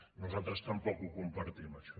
nosaltres tampoc ho compartim això